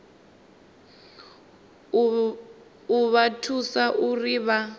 u vha thusa uri vha